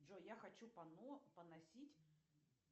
джой я хочу пано поносить